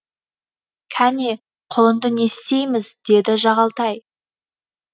кәне құлынды не істейміз деді жағалтай